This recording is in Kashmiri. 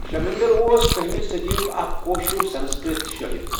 شؠمؠنٛدَر اوس کٔہمہِ صٔدییُک اَکھ کٲشُر سَنَسکرٕٛت شٲعِر.